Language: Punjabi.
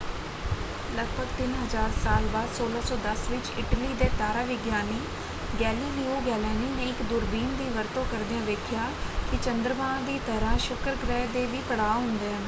ਲਗਭਗ ਤਿੰਨ ਹਜ਼ਾਰ ਸਾਲ ਬਾਅਦ 1610 ਵਿੱਚ ਇਟਲੀ ਦੇ ਤਾਰਾ ਵਿਗਿਆਨੀ ਗੈਲੀਲੀਓ ਗੈਲੀਲੀ ਨੇ ਇੱਕ ਦੂਰਬੀਨ ਦੀ ਵਰਤੋਂ ਕਰਦਿਆਂ ਵੇਖਿਆ ਕਿ ਚੰਦਰਮਾ ਦੀ ਤਰ੍ਹਾਂ ਸ਼ੁੱਕਰ ਗ੍ਰਹਿ ਦੇ ਵੀ ਪੜਾਅ ਹੁੰਦੇ ਹਨ।